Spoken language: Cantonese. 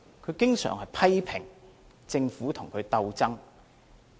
他經常批評政府與他鬥爭。